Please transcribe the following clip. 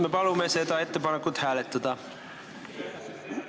Me palume seda ettepanekut hääletada!